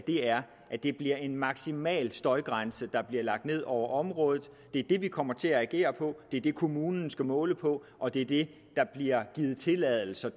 er at det er en maksimal støjgrænse der bliver lagt ned over området det er det vi kommer til at agere på det er det kommunen skal måle på og det er det der bliver givet tilladelser